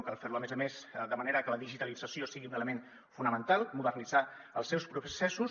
cal fer ho a més a més de manera que la digitalització sigui un element fonamental modernitzar els seus processos